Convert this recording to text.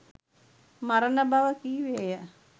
මරණ බව කීවේය.